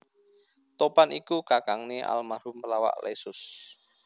Topan iku kakangné almarhum pelawak Leysus